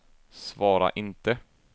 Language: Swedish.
svara inte